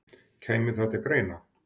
Kæmi það til greina?